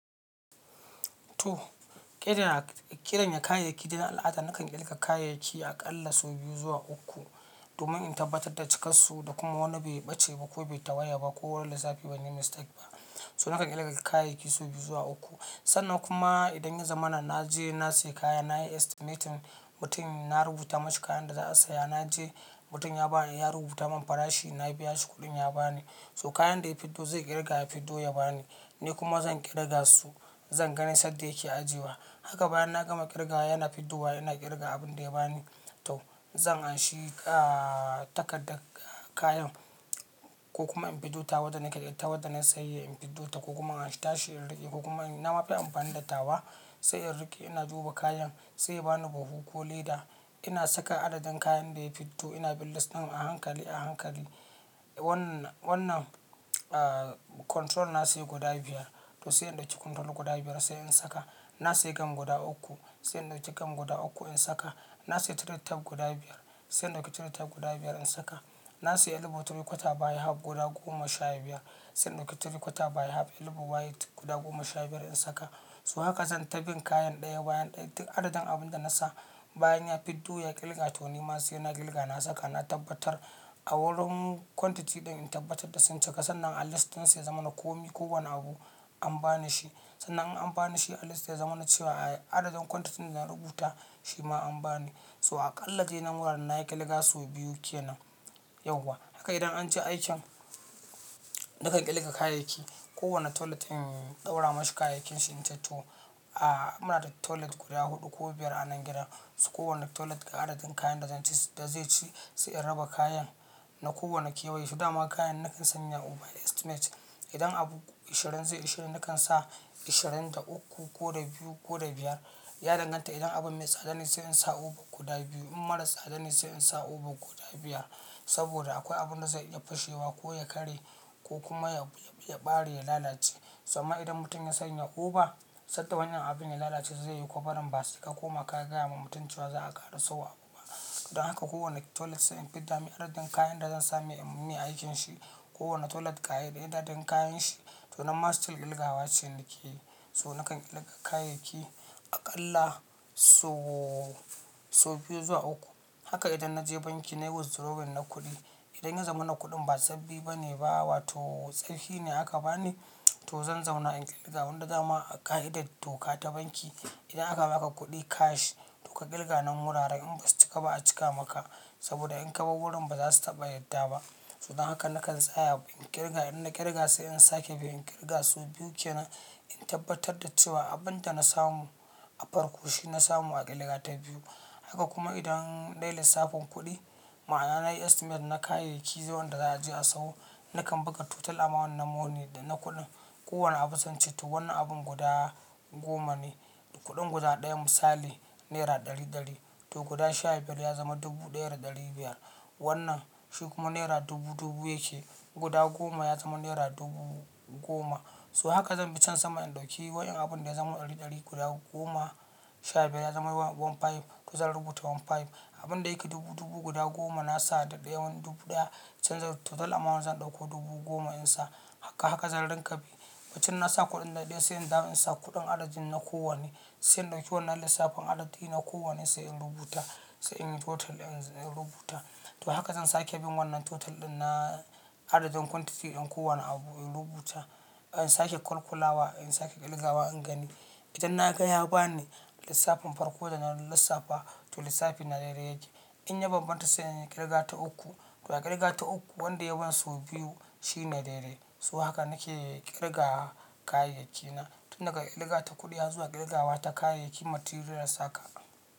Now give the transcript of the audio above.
To, ƙidan, ƙidanya kayayyaki da na al'ada nakan ƙirga kayayyaki aƙalla sau biyu zuwa uku domin in tabbatar da cikansu da kuma wani bai ɓace ba ko bai tawaya ba ko lissafi banyi mistake ba. So nakan ƙirga kayayyaki sau biyu zuwa uku. Sannan kuma idan ya zamana na je na siya kaya nayi estimating mutum na rubuta mashi kayan da za a siya. Na je mutum ya ba ni, ya rubuta min farashi na biya shi kuɗin ya ba ni. So kayan da ya fiddo zai ƙirga ya fiddo ya ba ni. Ni kuma zan ƙirga su zan gani sanda yake ajewa. Haka bayan na gama ƙirga yana fiddowa yana ƙirga abin da ya ba ni. To zan anshi, ahhh, takardar kayan ko kuma in fiddo tawa wanda nake ita wanda na yi sayayyan in fiddota ko kuma in anshi tashi in riƙe ko kuma, na mafi amfani da tawa sai in riƙe ina duba kayan sai ya bani buhu ko leda ina saka adadin kayan da ya fiddo ina bin list ɗin a hankali a hankali. Wannan, wannan, ahhh, control na siya guda biyar to sai in ɗauki control guda biyar sai in saka. Na siya gam guda uku sai in ɗauki gam guda uku in saka. Na siya toilet tap guda biyar sai in ɗauki toilet tap guda biyar in saka. Na siya elbow three quarter baya hub guda goma sha biyar sai in ɗauki three quarter baya hub elbow white guda goma sha biyar in saka. So haka zan ta bin kayan ɗaya bayan ɗaya duk adadin abun da na sa bayan ya fiddo ya ƙirga to ni ma sai ina ƙirga na saka na tabbatar a wurin quantity ɗin in tabbatar da sun cika sannan a list ɗin sai ya zamana komi ko wani abu an ba ni shi. Sannan in an ba ni shi a list ya zamana cewa adadin quantity ɗin da na rubuta shi ma an ba ni. To aƙalla dai nan wuraren na yi ƙirga sau biyu kenan, yauwa. Haka idan an je aikin, nakan ƙirga kayayyaki. Ko wanne toilet in ɗaura mashi kayayyakin shi in ce to, ahhh, muna da toilet guda huɗu ko biyar a nan gida. So ko wanne toilet ga adadin kayan da zan ci, da zai ci sai in raba kayan na kowane kewaye. To dama kayan nakan sanya over estimate. Idan abu ishirin zai ishirin nakan sa ishirin da uku ko da biyu ko da biyar. Ya danganta idan abun mai tsada ne sai in sa over guda biyu in mara tsada ne sai in sa over guda biyar. Saboda akwai abunda zai iya fashewa ko ya karye ko kuma ya, ya, ya ɓare ya lalace. Tsamman idan mutum ya sanya over, sanda wannan abin ya lalace zai yi kwaɓarin ba sai ka koma ka gaya ma mutum cewa za a ƙara sauwa uba. Don haka kowane toilet sai in fidda mai adadin kayan da zan samai in yi mai aikin shi. Kowanne toilet da adadin kayan shi. To nan ma still ƙirga wa ce nake yi. So nakan ƙirga kayayyaki aƙalla so, sau biyu zuwa uku. Haka idan na je banki nayi withdrawal na kuɗi. Idan ya zamana kuɗin ba sabbi bane bawa to tsoffi ne aka bani to zan zauna in ƙirga wanda dama a ƙa'idar doka ta banki idan aka ba ka kuɗi cash, to ka ƙirga nan wuraren in ba su cika ba a cika maka. Saboda in ka bar wurin ba za su taɓa yadda ba. To dan haka nakan tsaya in ƙirga in na ƙirga sai in sake bi in ƙirga sau biyu kenan in tabbatar da cewa abin da na samu a farko shi na samu a ƙirga ta biyu. Haka kuma idan dai lissafin kuɗi ma'ana nayi estimate na kayayyaki wanda za a je a sayo nakan buga total amount na money da na kuɗi. Kowanne abu sai in ce to wannan abun guda goma ne. Kuɗin guda ɗaya misali nera ɗari ɗari to guda sha biyar ya zama dubu ɗaya da ɗari biyar. Wannan shi kuma nera dubu dubu yake guda goma ya zama naira dubu goma. So haka zan bi can sama in ɗauki wayan, abunda ya zama ɗari ɗari guda goma sha biyar ya zama one five to zan rubuta one five. Abunda yake dubu dubu guda goma na sa daɓewan dubu ɗaya can zan, total amount zan ɗauko dubu goma in sa haka, haka zan rinƙa bi. Bayan na sa kuɗin ɗaya ɗaya sai in dawo in sa kuɗin adadin na kowanne. Sai in ɗauki wannan lissafin adadi na kowanne sai in rubuta. Sai in yi total in, in rubuta. To haka zan sake bin wannan total ɗin na adadin quantity ɗin kowanne abu in rubuta. In sake kalkulawa in sake ƙirgawa in gani. Idan na ga ya ba ni lissafin farko da na lissafa to lissafi na daidai yake. In ya bambanta sai in yi ƙirga ta uku. To a ƙirga ta uku wanda ya ban sau biyu shi ne daidai. So haka nake ƙirga kayayyakina. Tun daga ƙirga ta kuɗi har zuwa ƙirgawa ta kayayyaki materials haka.